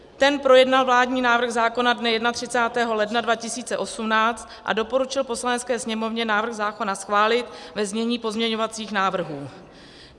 Ten projednal vládní návrh zákona dne 31. ledna 2018 a doporučil Poslanecké sněmovně návrh zákona schválit ve znění pozměňovacích návrhů.